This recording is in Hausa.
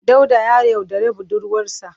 Dauda ya yaudari budurwarsa.